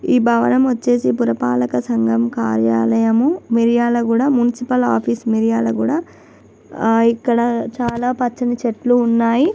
ఈ భవనం వచ్చేసి పురపాలక సంగం కార్యాలయం మిర్యాలగూడ మునకిపాల ఆఫీసు మిర్యాలగూడ ఇక్కడ చాలా పచ్చని చెట్లు ఉన్నాయి.